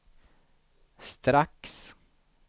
strax